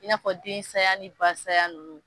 I n'a fɔ den saya ni ba sayaya nunnu